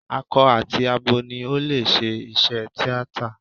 Akọ àti abo ni ó lè ṣe iṣẹ́ tíátà.